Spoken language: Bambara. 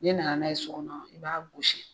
N'e nana n'a ye so kɔnɔ i b'a gosi.